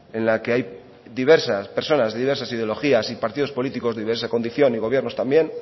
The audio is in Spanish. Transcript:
en la que hay diversas personas de diversas ideologías y partidos políticos de diversa condición y gobiernos también